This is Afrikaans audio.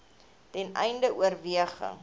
ten einde oorweging